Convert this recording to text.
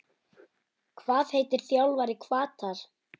Hvað heitir þjálfari Hvatar?